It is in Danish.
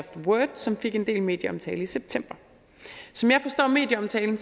word som fik en del medieomtale i september som jeg forstår medieomtalen